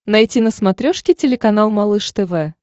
найти на смотрешке телеканал малыш тв